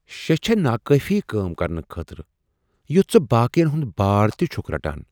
شےٚ چھیٚے نا کٲفی کٲم کرنہٕ خٲطرٕ یُتھ ژٕ باقین ہنٛد بار تہِ چھکھ رٹان؟